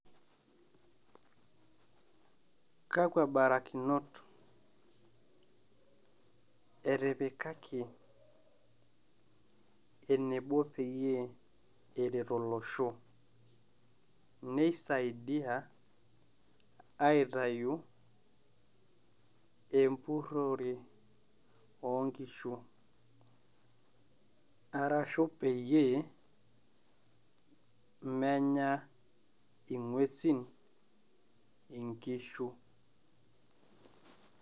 Kakwa barakinot etipikake enebo peyie eret olosho, neisaidia aitayu empurrore oo nkishu, arashu peyie menya ing'uesin enkishu.